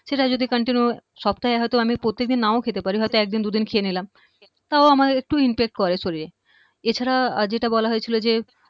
সেটা যদি continue সপ্তাহে হয়ত আমি প্রত্যেক দিন নাও খেতে পারি হয়ত একদিন দুদিন খেয়ে নিলাম তাও আমার একটু impact করে শরীরে এছাড়া যেটা বলা হয়েছিল যে